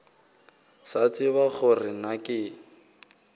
sa tsebe gore na ke